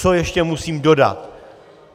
Co ještě musím dodat.